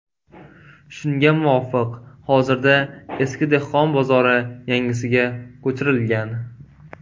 Shunga muvofiq, hozirda eski dehqon bozori yangisiga ko‘chirilgan.